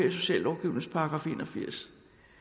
i sociallovgivningens § en og firs